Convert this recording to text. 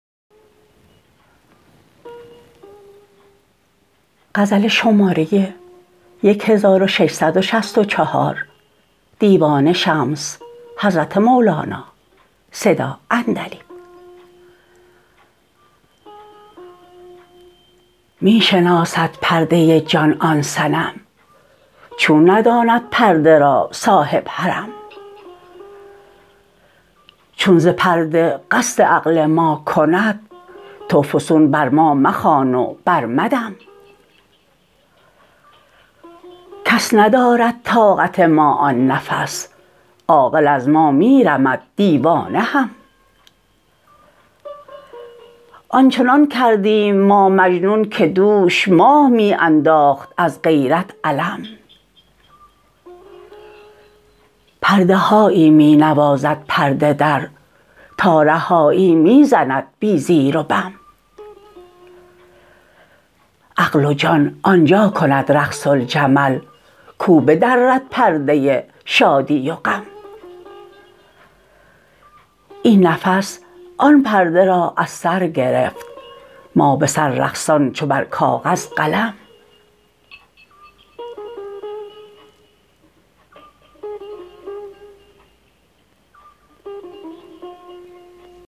می شناسد پرده جان آن صنم چون نداند پرده را صاحب حرم چون ز پرده قصد عقل ما کند تو فسون بر ما مخوان و برمدم کس ندارد طاقت ما آن نفس عاقل از ما می رمد دیوانه هم آن چنان کردیم ما مجنون که دوش ماه می انداخت از غیرت علم پرده هایی می نوازد پرده در تارهایی می زند بی زیر و بم عقل و جان آن جا کند رقص الجمل کو بدرد پرده شادی و غم این نفس آن پرده را از سر گرفت ما به سر رقصان چو بر کاغذ قلم